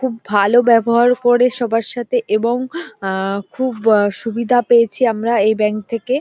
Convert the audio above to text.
খুব ভালো ব্যবহার করে সবার সাথে এবং আহ খুব আহ সুবিধা পেয়েছি আমরা এই ব্যাংক থেকে।